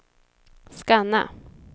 scanna